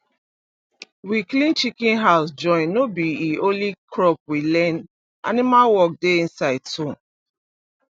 we clean chicken house join no b e only crop we learn animal work dey inside too